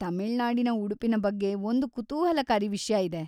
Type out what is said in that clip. ತಮಿಳ್ನಾಡಿನ ಉಡುಪಿನ ಬಗ್ಗೆ ಒಂದು ಕುತೂಹಲಕಾರಿ ವಿಷ್ಯ ಇದೆ.